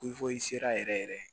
sera yɛrɛ